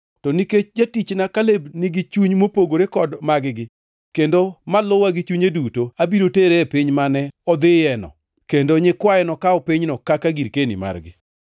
To nikech jatichna Kaleb nigi chuny mopogore kod mag-gi kendo ma luwa gi chunye duto, abiro tere e piny mane odhiyoeno, kendo nyikwaye nokaw pinyno kaka girkeni margi.